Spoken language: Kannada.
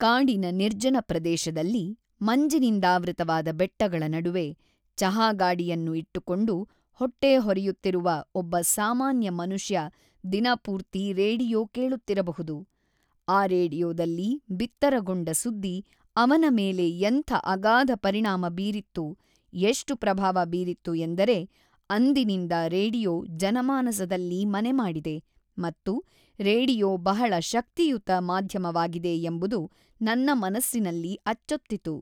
ಕಾಡಿನ ನಿರ್ಜನ ಪ್ರದೇಶದಲ್ಲಿ, ಮಂಜಿನಿಂದಾವೃತವಾದ ಬೆಟ್ಟಗಳ ನಡುವೆ, ಚಹಾ ಗಾಡಿಯನ್ನು ಇಟ್ಟುಕೊಂಡು ಹೊಟ್ಟೆ ಹೊರೆಯುತ್ತಿರುವ ಒಬ್ಬ ಸಾಮಾನ್ಯ ಮನುಷ್ಯ ದಿನಪೂರ್ತಿ ರೇಡಿಯೋ ಕೇಳುತ್ತಿರಬಹುದು, ಆ ರೇಡಿಯೋದಲ್ಲಿ ಬಿತ್ತರಗೊಂಡ ಸುದ್ದಿ ಅವನ ಮೇಲೆ ಎಂಥ ಅಗಾಧ ಪರಿಣಾಮ ಬೀರಿತ್ತು, ಎಷ್ಟು ಪ್ರಭಾವ ಬೀರಿತ್ತು ಎಂದರೆ ಅಂದಿನಿಂದ ರೇಡಿಯೋ ಜನಮಾನಸದಲ್ಲಿ ಮನೆಮಾಡಿದೆ ಮತ್ತು ರೇಡಿಯೋ ಬಹಳ ಶಕ್ತಿಯುತ ಮಾಧ್ಯಮವಾಗಿದೆ ಎಂಬುದು ನನ್ನ ಮನಸ್ಸಿನಲ್ಲಿ ಅಚ್ಚೊತ್ತಿತು.